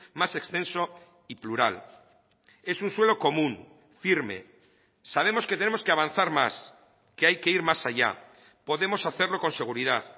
más extenso y plural es un suelo común firme sabemos que tenemos que avanzar más que hay que ir más allá podemos hacerlo con seguridad